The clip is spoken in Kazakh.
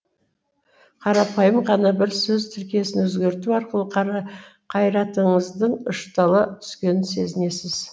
қарапайым ғана бір сөз тіркесін өзгерту арқылы қайратыңыздың ұштала түскенін сезінесіз